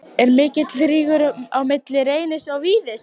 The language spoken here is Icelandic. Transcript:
Er mikill rígur á milli Reynis og Víðis?